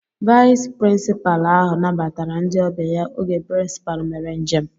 Vayis pirinsipaalu ahụ nabatara ndị ọbịa ya oge pirincipalu mere njem